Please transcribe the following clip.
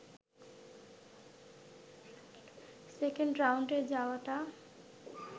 second রাউন্ডে যাওয়াটা